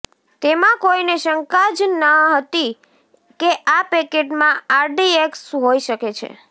તેમાં કોઈને શંકા ન જતી કે આ પેકેટમાં આરડીએક્સ હોઈ શકે છે